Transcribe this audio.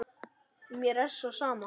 Mér er svo sem sama.